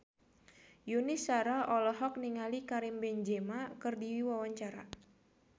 Yuni Shara olohok ningali Karim Benzema keur diwawancara